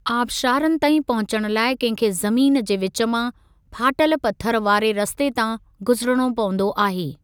आबशारनि ताईं पहुचण लाइ कंहिं खे ज़मीन जे विचु मां, फाटल पथरनि वारे रस्ते तां गुज़रिणो पंवदो आहे।